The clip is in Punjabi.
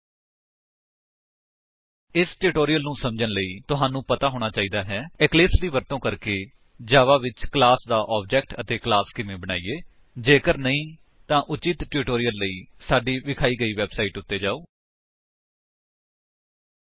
ਐਚਟੀਟੀਪੀ ਡਬਲਯੂਡਬਲਯੂਡਬਲਯੂਡਬਲਯੂਡਬਲਯੂਡਬਲਯੂਡਬਲਯੂਡਬਲਯੂਡਬਲਯੂਡਬਲਯੂਡਬਲਯੂਡਬਲਯੂਡਬਲਯੂਡਬਲਯੂਡਬਲਯੂਡਬਲਯੂਡਬਲਯੂਡਬਲਯੂਡਬਲਯੂਡਬਲਯੂਡਬਲਯੂਡਬਲਯੂਡਬਲਯੂਡਬਲਯੂਡਬਲਯੂਡਬਲਯੂਡਬਲਯੂਡਬਲਯੂਡਬਲਯੂਡਬਲਯੂਡਬਲਯੂਡਬਲਯੂਡਬਲਯੂਡਬਲਯੂਡਬਲਯੂਡਬਲਯੂਡਬਲਯੂਡਬਲਯੂਡਬਲਯੂਡਬਲਯੂ